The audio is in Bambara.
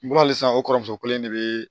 N ko halisa o kɔrɔmuso kelen de be